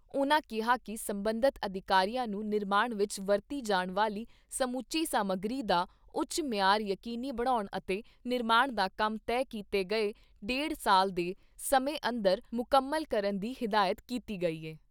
ਉਨ੍ਹਾਂ ਕਿਹਾ ਕਿ ਸਬੰਧਤ ਅਧਿਕਾਰੀਆਂ ਨੂੰ ਨਿਰਮਾਣ ਵਿਚ ਵਰਤੀ ਜਾਣ ਵਾਲੀ ਸਮੁੱਚੀ ਸਮੱਗਰੀ ਦਾ ਉੱਚ ਮਿਆਰ ਯਕੀਨੀ ਬਣਾਉਣ ਅਤੇ ਨਿਰਮਾਣ ਦਾ ਕੰਮ ਤੈਅ ਕੀਤੇ ਗਏ ਡੇਢ ਸਾਲ ਦੇ ਸਮੇਂ ਅੰਦਰ ਮੁਕੰਮਲ ਕਰਨ ਦੀ ਹਦਾਇਤ ਕੀਤੀ ਗਈ ਐ।